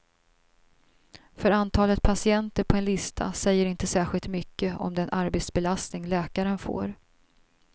För antalet patienter på en lista säger inte särskilt mycket om den arbetsbelastning läkaren får.